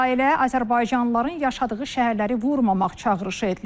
İsrailə azərbaycanlıların yaşadığı şəhərləri vurmamaq çağırışı edilir.